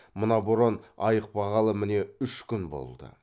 мына боран айықпағалы міне үш күн болды